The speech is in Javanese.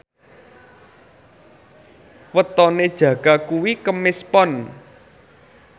wetone Jaka kuwi Kemis Pon